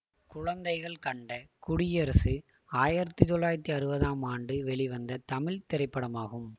குழந்தைகள் கண்ட குடியரசு ஆயிரத்தி தொள்ளாயிரத்தி அறுபதாம் ஆண்டு வெளிவந்த தமிழ் திரைப்படமாகும்